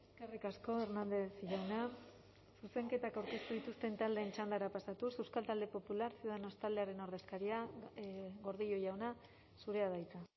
eskerrik asko hernández jauna zuzenketak aurkeztu dituzten taldeen txandara pasatuz euskal talde popular ciudadanos taldearen ordezkaria gordillo jauna zurea da hitza